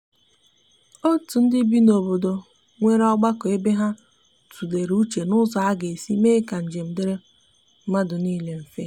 otu ndi bị n'obodo nwere ogbako ebe ha tulere uche n'ụzọ aga esi mee ka njem diri madu nile mfe.